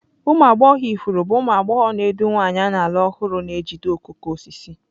Ụmụ agbọghọ ifuru bụ ụmụ agbọghọ na-edu nwanyị a na-alụ ọhụrụ na-ejide okooko osisi.